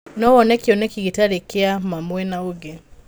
No wone kĩneki gĩtarĩ kĩa ma mwena ũngĩ